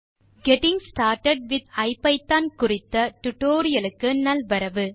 hello நண்பர்களே getting started with ஐபிதான் குறித்த டியூட்டோரியல் க்கு நல்வரவு